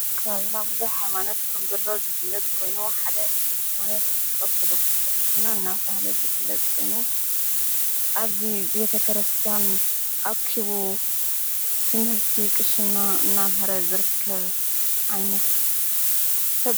ኣካ ብና ብዙኅ ሃይማኖት ከምዘሎ ዝፍለት ኮይኑሓደ ሕይማነት ወተዶግትስ ክርስትና እናታህለ ዝፍለጥ ኮይኑ ኣብዙ ቤተ ክረስትያን ኣኪቡ ትምህርቲ ቕሽና እናምህረ ዘርከብ ኣይነት::